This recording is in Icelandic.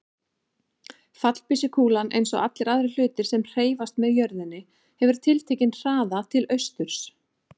Fallbyssukúlan, eins og allir aðrir hlutir sem hreyfast með jörðinni, hefur tiltekinn hraða til austurs.